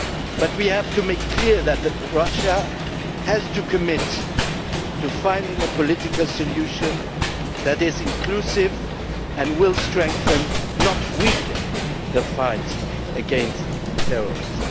But we must make clear that Russia has to commit to finding a political solution that is inclusive and will strengthen, not weaken, the fight against terrorism.